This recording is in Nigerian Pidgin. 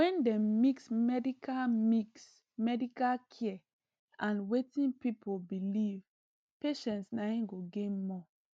when dem mix medical mix medical care and wetin people believe patients naim go gain more